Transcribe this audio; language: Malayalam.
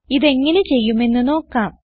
ഇത് എങ്ങനെ ചെയ്യുമെന്ന് നോക്കാം